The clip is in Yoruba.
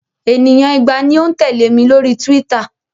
Ènìyàn igba ni ó ń tẹ̀lẹ́ mi lórí Twitter.